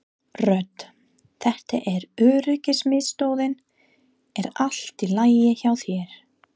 Rödd: Þetta er öryggismiðstöðin er allt í lagi hjá þér?